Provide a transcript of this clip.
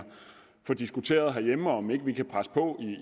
får diskuteret herhjemme om ikke vi kan presse på